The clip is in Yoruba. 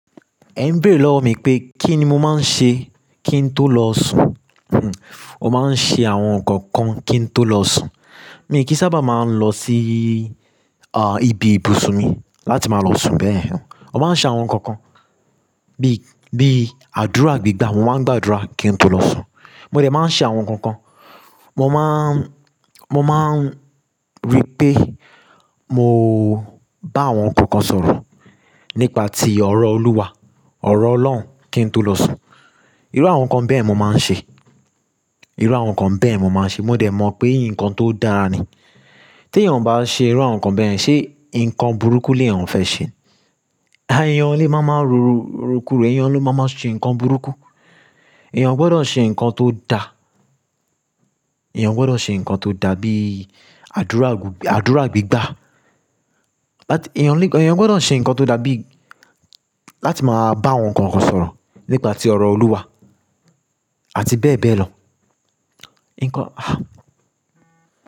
Ẹ n béèrè lọ̀ mí pé kí ni mo máa ń ṣe kí n tó lọ sùn. Mó máa ń ṣe àwọn nǹkan kan kí n tó lọ sùn. Èmi kí sábà máa ń lọ sí, àh, ibi ibùsùn mi láti máa lọ sùn bẹ́ẹ̀. Mi máa ń ṣe àwọn nǹkan kan bí, bí àdúrà gbígbà. Mo máa ń gbàdúrà kí n tó lọ sùn. Mo dẹ̀ máa ń ṣe àwọn nǹkan kan. Mo máa ń, mo máa ń ri pe. Mo bá àwọn nǹkan kan sọ̀rọ̀ nípa ti ọ̀rọ̀ Olúwa, ọ̀rọ̀ Ọlọ́run kí n tó lọ sùn. Irú àwọn nǹkan bẹ́ẹ̀ ni mo máa ń ṣe. Irú àwọn nǹkan bẹ́ẹ̀ mo máa ń ṣe. Mo dẹ mọ̀ pé nǹkan tó dáa ni. Tí èèyàn bá ṣe irú àwọn nǹkan bẹyẹn, ṣé nǹkan burúkú ni èèyàn fẹ́ ṣe? Ayé èèyàn lè máa máa rorokuro, èèyàn ló máa máa ṣe nǹkan burúkú. Èèyàn gbọdọ̀ ṣe nǹkan tó da. Èèyàn gbọdọ̀ ṣe nǹkan tó da bí àdúrà gbu-- àdúrà gbígbà. Láti èèyàn lè kàn, èèyàn gbọdọ̀ ṣe nǹkan tó da bí láti máa bá àwọn nǹkan kan sọ̀rọ̀ nípa ti ọ̀rọ̀ Olúwa àti bẹ́ẹ̀ bẹ́ẹ̀ lọ. Nǹkan, ah.